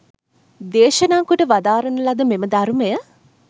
දේශනා කොට වදාරන ලද මෙම ධර්මය